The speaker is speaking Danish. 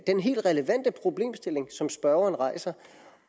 den helt relevante problemstilling som spørgeren rejser